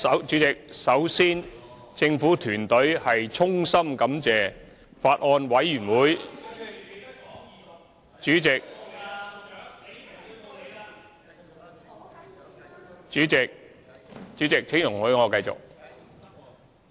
主席，首先政府團隊衷心感謝法案委員會......主席，請容許我繼續......